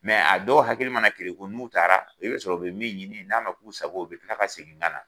a dɔw hakili mana kelenku n'u taara, i bɛ sɔrɔ u bɛ min ɲini n'a ma k'u sago ye, u bɛ kila ka segin ka na.